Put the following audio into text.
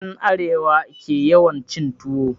En Arewa ke yawan cin tuwo